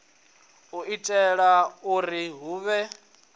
u itela uri hu vhe